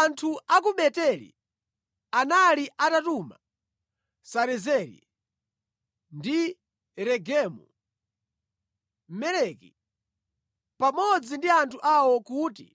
Anthu a ku Beteli anali atatuma Sarezeri ndi Regemu-Meleki pamodzi ndi anthu awo, kuti